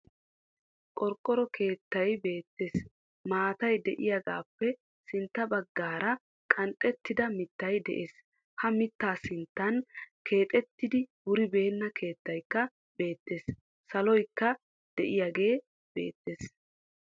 Qorqqoro keettay beettees. Maattay de'iyagappe sintta baggara qanxxettida mittay de'ees. Ha mittaa sinttan keexxettidi wuribeena keettaykka beettees. Saloykka deiyagee beettees.